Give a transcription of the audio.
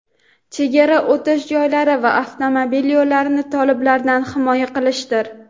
chegara o‘tish joylari va avtomobil yo‘llarini toliblardan himoya qilishdir.